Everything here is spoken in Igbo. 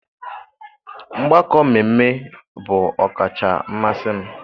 Mgbakọ mmemme bụ ọkacha mmasị m.